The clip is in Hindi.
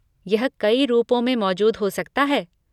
यह कई रूपों में मौजूद हो सकता है।